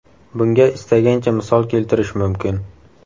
Bunga istagancha misol keltirish mumkin.